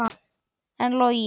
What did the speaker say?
En Logi?